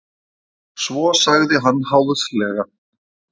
Svo sagði hann háðslega.